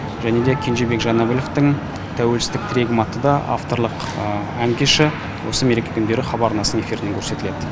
және де кенжебек жанәбіловтің тәуелсіздік тірегім атты да авторлық ән кеші осы мереке күндері хабар арнасының эфирінен көрсетіледі